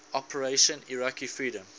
operation iraqi freedom